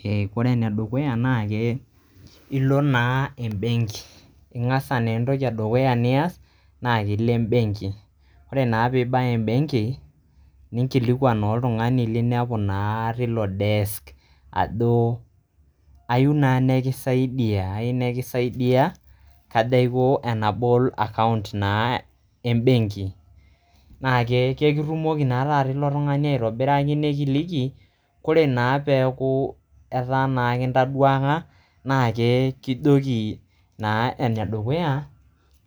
he ore ene dukuya na ke ilo naa embenki .ingas naa entoki edukuya nias ile embenki. ore naa pibaya embenki ninkilikwan naa oldutungani linepu naa tilo desk ajo ayieu naa nikisaidia ayieu nikisaidia kajo aiko tenabol account naa embenki naa ekitumoki nakata ilo tungani aitobiraki nikiliki .ore naa peku etaa naa kintaduaka na ke kijoki ore ene dukuya